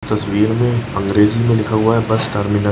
तस्वीर में अंग्रेजी में लिखा हुआ है बस टर्मिन --